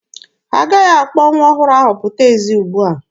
Ha agaghị akpọ nwa ọhụrụ ahụ pụta ezi ugbua.